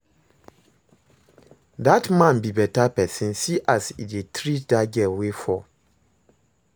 Dat man be beta person see as he dey treat dat girl wey fall